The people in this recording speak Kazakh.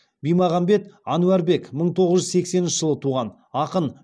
бимағамбет әнуарбек мың тоғыз жүз сексенінші жылы туған ақын